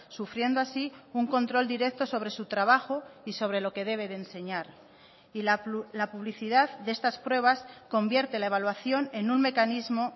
sufriendo así un control directo sobre su trabajo y sobre lo que debe de enseñar y la publicidad de estas pruebas convierte la evaluación en un mecanismo